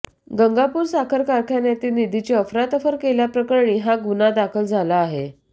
गंगापूर साखर कारखान्यातील निधीची अफरातफर केल्याप्रकरणी हा गुन्हा दाखल झाला आहे